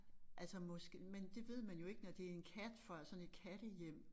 Altså måske men det ved man jo ikke når det en kat fra sådan et kattehjem